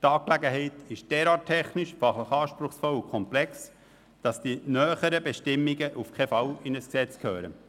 Die Angelegenheit ist derart technisch, anspruchsvoll und komplex, dass die näheren Bestimmungen auf keinen Fall in ein Gesetz gehören.